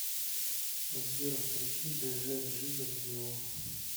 сбер включи дж джи годзилу